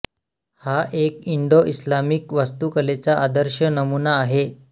हा एक Indo Islamic वास्तूकलेचा आदर्श नमूना आहे